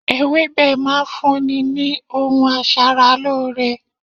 Ewébẹ̀ máa ń fún ni ohun aṣaralóore.